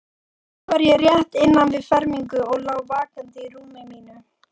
Þá var ég rétt innan við fermingu og lá vakandi í rúmi mínu.